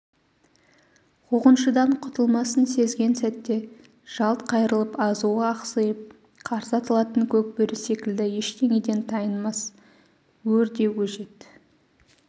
қуғыншыдан құтылмасын сезген сәтте жалт қайырылып азуы ақсиып қарсы атылатын көкбөрі секілді ештеңеден тайынбас өр де өжет